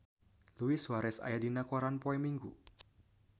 Luis Suarez aya dina koran poe Minggon